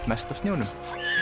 mest af snjónum